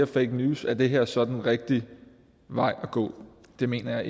fake news er det her så den rigtige vej at gå det mener